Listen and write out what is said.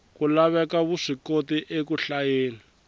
ku laveka vuswikoti eku hlayeni